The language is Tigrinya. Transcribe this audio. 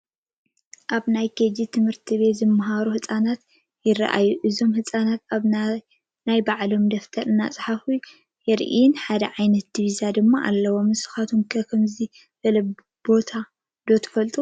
ኣብ ናይ ኬጂ ቤት ት/ቲ ዝመሃሩ ህፃናት ይራኣዩ፡፡ እዞም ህፃናት ኣብ ነናይ ባዕሎም ደብተር እንትፅሕፉ የርኢን ሓደ ዓ/ት ዲቪዛ ድማ ኣለዎም፡፡ ንስኹም ከ ከምዚ ዝበለ ቦታ ዶ ትሪኡ?